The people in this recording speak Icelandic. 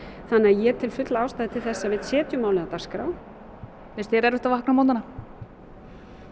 þannig að ég tel fulla ástæðu til þess að við setjum málið á dagskrá finnst þér erfitt að vakna á morgnana